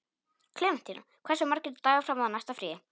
Klementína, hversu margir dagar fram að næsta fríi?